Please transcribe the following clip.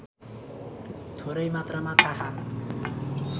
थोरै मात्रामा थाहा